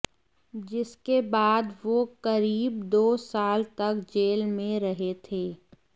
जिसके बाद वो करीब दो साल तक जेल में रहे थे